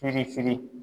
Firifiri